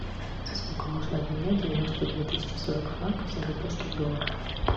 за сколько можно обменять девяносто две тысячи сорок франков в сингапурских долларах